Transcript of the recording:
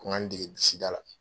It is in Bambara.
Ko n ka n dege disi da la.